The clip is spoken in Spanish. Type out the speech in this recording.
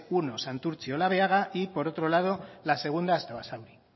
primero santurtzi olabeaga y por otro lado la segunda hasta basauri